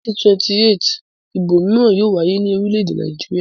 Ní 2028 ìbò mìíràn yóò wáyé ní orílẹ̀-èdè Nàìjíríà.